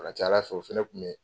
Ka ca Ala fɛ o fɛnɛ tun bɛ